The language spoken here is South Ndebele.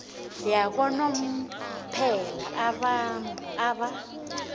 yakanomphela abantu ab